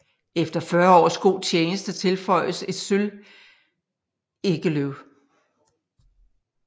Efter 40 års god tjeneste tilføjes et sølvegeløv